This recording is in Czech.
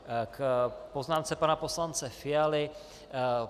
K poznámce pana poslance Fialy.